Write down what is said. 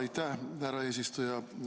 Aitäh, härra eesistuja!